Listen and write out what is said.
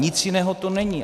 Nic jiného to není.